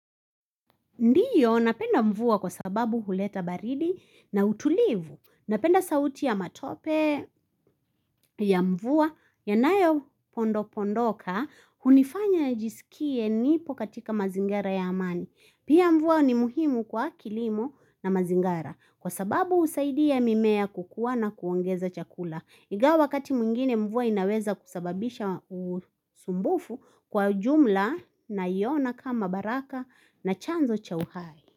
Ndio napenda mvua kwa sababu huleta baridi na utulivu. Napenda sauti ya matope ya mvua, yanayo pondo pondoka, hunifanya nijsikie nipo katika mazingira ya amani. Pia mvua ni muhimu kwa kilimo na mazingara, kwa sababu husaidia mimea kukua na kuongeza chakula. Ingawa wakati mwingine mvua inaweza kusababisha usumbufu kwa jumla naiona kama baraka na chanzo cha uhai.